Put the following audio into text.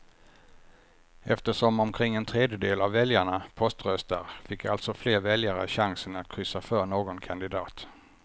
Eftersom omkring en tredjedel av väljarna poströstar fick alltså fler väljare chansen att kryssa för någon kandidat.